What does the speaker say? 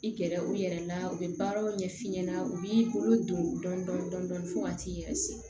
I gɛrɛ u yɛrɛ la u bɛ baaraw ɲɛf'i ɲɛna u b'i bolo don dɔndɔni fo ka t'i yɛrɛ siri